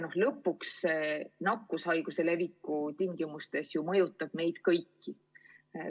Ja lõpuks see nakkushaiguse leviku tingimustes ju mõjutab meid kõiki.